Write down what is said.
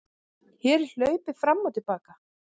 Hér er hlaupið fram og til baka.